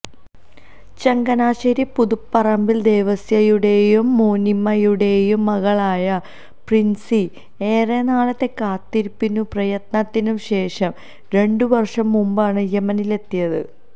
ചങ്ങനാശേരി പുതുപ്പറമ്പിൽ ദേവസ്യയുടെയും മോനിമ്മയുടെയും മകളായ പ്രിൻസി ഏറെനാളത്തെ കാത്തിരിപ്പിനും പ്രയത്നത്തിനും ശേഷം രണ്ടുവർഷം മുമ്പാണ് യെമനിലെത്തിയത്